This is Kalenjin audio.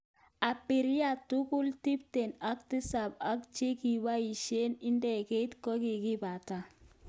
Abirria tugul tipten ak tisap ak chikibaisek ik ndegeit kokibato.